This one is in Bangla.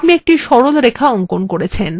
আপনি একটি সরল রেখা অঙ্কন করেছেন